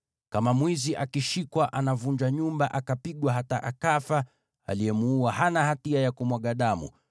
“Kama mwizi akishikwa anavunja nyumba akapigwa hata akafa, aliyemuua hana hatia ya kumwaga damu;